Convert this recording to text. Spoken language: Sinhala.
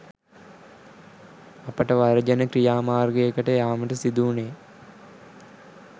අපට වර්ජන ක්‍රියා මාර්ගයකට යාමට සිදු වුණේ